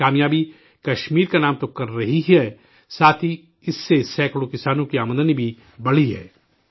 یہ کامیابی کشمیر کا نام تو کر ہی رہی ہے، ساتھ ہی اس سے سینکڑوں کسانوں کی آمدنی بھی بڑھی ہے